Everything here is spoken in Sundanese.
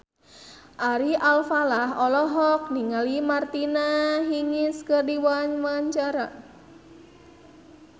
Ari Alfalah olohok ningali Martina Hingis keur diwawancara